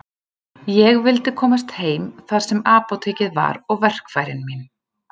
Ég vildi komast heim þar sem apótekið var og verkfærin mín.